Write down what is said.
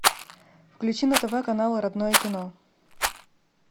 включи на тв канал родное кино